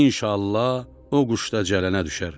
İnşallah, o quş da cələnə düşər.